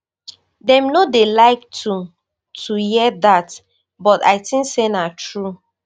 dem no dey like to to hear dat but i tink say na true